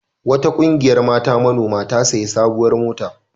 Wata ƙungiyar mata manoma ta sayi sabuwar mota.